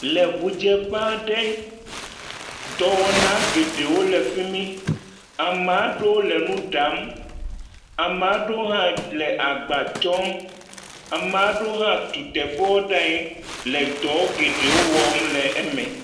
Le ŋudzeƒe aɖe. Dɔwɔwna geɖewo le fi mi. Amaa ɖewo le nu ɖam. Amaa ɖewo hã le agba tsɔm. amma ɖewo hã tu teƒewo ɖaa nyi le dɔ geɖewo wɔm le eme.